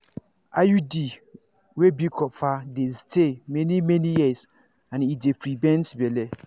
true-true hormonal iuds dey stay for many-many um years as e go help you um avoid everyday um medicines.